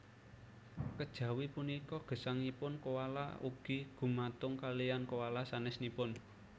Kejawi punika gesangipun koala ugi gumantung kaliyan koala sanésipun